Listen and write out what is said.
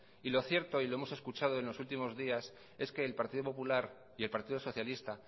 y lo cierto y lo hemos escuchado en los últimos días es que el partido popular y el partido socialista